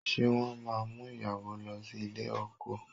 Ṣé wọ́n máa mú ìyàwó lọ sí ilé ọkọ?